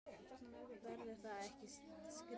Verður það ekki skrítið?